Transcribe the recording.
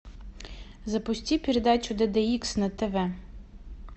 запусти передачу д д икс на тв